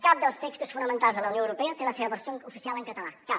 cap dels textos fonamentals de la unió europea té la seva versió oficial en català cap